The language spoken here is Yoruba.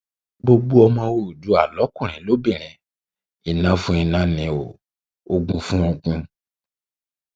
gbogbo ọmọ oòdùà lọkùnrin lóbìnrin iná fún iná ni o ogún fún ogún